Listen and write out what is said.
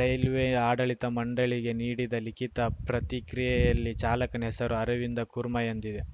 railway ಆಡಳಿತ ಮಂಡಳಿಗೆ ನೀಡಿದ ಲಿಖಿತ ಪ್ರತಿಕ್ರಿಯೆಯಲ್ಲಿ ಚಾಲಕನ ಹೆಸರು ಅರವಿಂದ ಕುರ್ಮಾ ಎಂದಿದೆ